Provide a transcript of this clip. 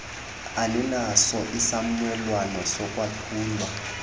aninaso isiumelwano sokwaphulwa